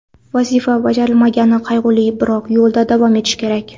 Vazifa bajarilmagani qayg‘uli, biroq yo‘lda davom etish kerak.